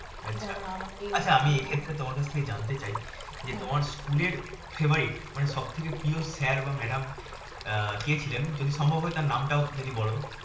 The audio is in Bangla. আচ্ছা। যারা আমাকে আচ্ছা আমি এক্ষেত্রে তোমার কাছ থেকে জানতে চাই যে তোমার স্কুলের favourite মানেসব থেকে প্রিয় sir বা madam কে ছিলেন? যদি সম্ভব হয় তার নামটাও যদি বলও